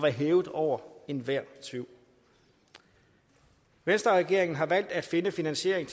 hævet over enhver tvivl venstreregeringen har valgt at finde finansiering